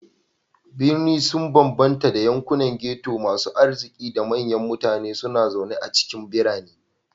Birni sun bambanta da yankunan ghetto, masu arziki da manyan mutane suna zaune a cikin birane.